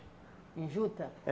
Em juta?